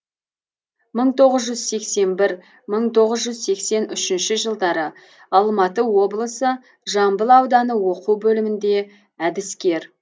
мың тоғыз жүз сексен бір мың тоғыз жүз сексен үшінші жылдары алматы облысы жамбыл ауданы оқу бөлімінде әдіскер